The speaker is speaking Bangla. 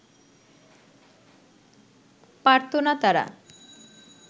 পারত না তারা